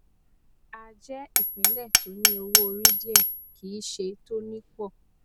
a jẹ ìpínlẹ tó ní owó orí díẹ kì í ṣe tó ní pọ